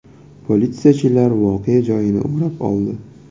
Politsiyachilar voqea joyini o‘rab oldi.